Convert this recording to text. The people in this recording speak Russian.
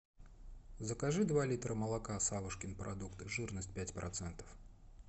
закажи два литра молока савушкин продукт жирность пять процентов